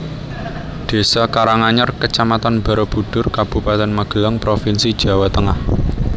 Désa Karanganyar Kecamatan Barabudhur Kabupaten Magelang provinsi Jawa Tengah